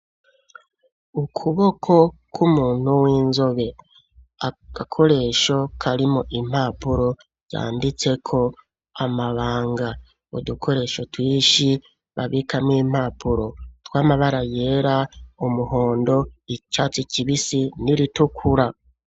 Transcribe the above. Ukuboko kw'umuntu w'inzobe, agakoresho karimwo impapuro, zanditseko amabanga; udukoresho twinshi, babika mwo impapuro, tw'amabara yera, umuhondo, icatsi kibisi n'iritukura.